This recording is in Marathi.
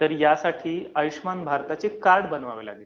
तर ह्यासाठी आयुष्यमान भारताचे कार्ड बनवावे लागेल.